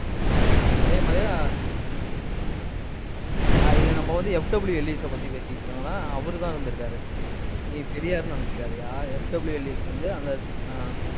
ஆமா, அதே மாதிரி இது நம்ம வந்து, FW எல்லிஸை பத்தி பேசிட்டு இருக்கோம்னா, அவருதான் இருந்துருக்காரு. நீ பெரியார்ன்னு நினைச்சுக்காதயா. FW எல்லிஸ் வந்து அந்த ஆஹ்